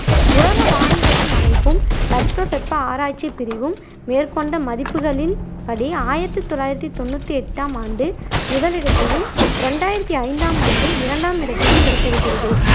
உலக வானிலையின் அமைப்பும் தட்பவெப்ப ஆராய்ச்சிப் பிரிவும் மேற்கொண்ட மதிப்புகளின் படி ஆயிரத்தி தொள்ளாயிரத்தி தொண்ணூத்தி எட்டாம் ஆண்டு முதலிடத்தையும் இரண்டாயிரத்தி ஐந்தாம் ஆண்டு இரண்டாம் இடத்தையும் பிடித்திருக்கிறது.